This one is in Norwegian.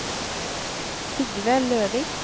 Sigve Løvik